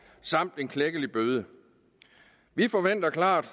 samt en klækkelig bøde vi forventer klart